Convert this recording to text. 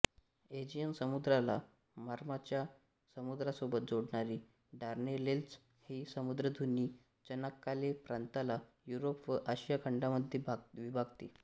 Aegean समुद्राला मार्माराच्या समुद्रासोबत जोडणारी डार्डेनेल्झ ही सामुद्रधुनी चनाक्काले प्रांताला युरोप व आशिया खंडांमध्ये विभागते